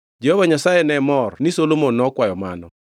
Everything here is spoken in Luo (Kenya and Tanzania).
Jehova Nyasaye ne mor ni Solomon nokwayo mano.